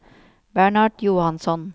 Bernhard Johansson